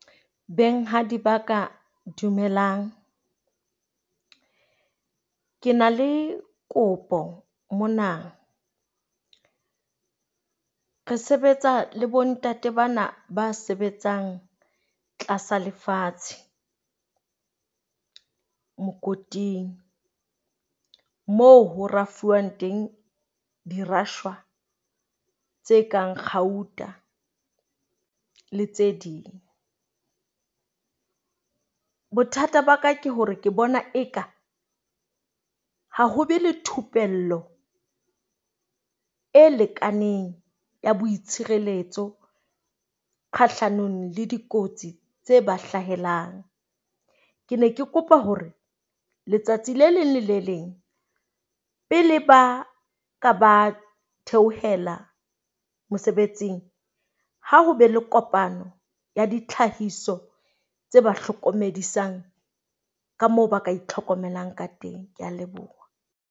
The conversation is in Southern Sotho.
Benghadi ba ka, dumelang. Ke na le kopo mona. Re sebetsa le bontate bana ba sebetsang tlasa lefatshe. Mokoting moo ho rafuwang teng dirafshwa tse kang kgauta le tse ding. Bothata ba ka ke hore ke bona eka ha ho be le thupello e lekaneng ya boitshireletso kgahlanong le dikotsi tse ba hlahelang. Ke ne ke kopa hore letsatsi le leng le le leng, pele ba ka ba theohela mosebetsing, ha ho be le kopano ya ditlhahiso tse ba hlokomedisang ka moo ba ka itlhokomelang ka teng. Ke a leboha.